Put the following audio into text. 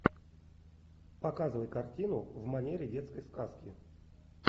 показывай картину в манере детской сказки